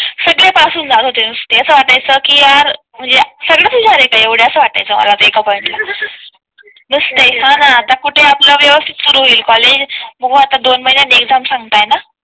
सगळे पास होऊन जात होते नुसते असं वाटत होत के यार म्हणजे सगळेच हुशार आहे का असं वाटायचं एका पॉईंट ला हा ना आता कुठे आपल्या व्यवस्थित सुरू होईल कॉलेज मग आता दोन महिन्यां एगझाम सांगताना